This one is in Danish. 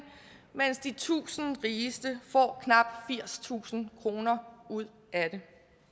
mens de tusind rigeste får knap firstusind kroner ud af det